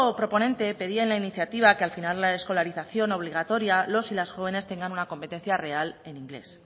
proponente pedía en la iniciativa que al finar la escolarización obligatoria los y las jóvenes tengan una competencia real en inglés